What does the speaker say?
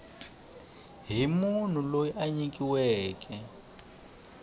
hi munhu loyi a nyikiweke